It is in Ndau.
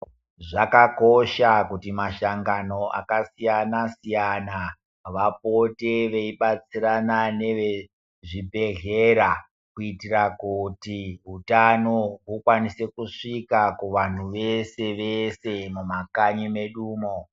Zvakakosha kuti mashangano akasiyana siyana vapote veibatsirana nevezvibhedhlera kuitira kuti utano hukwanise kusvika kuvanhu vese vese mumakanyi medumo.